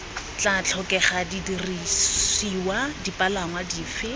tla tlhokega didirisiwa dipalangwa dife